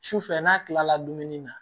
Sufɛ n'a kilala dumuni na